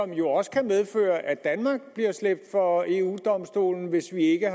jo også kan medføre at danmark bliver slæbt for eu domstolen hvis vi ikke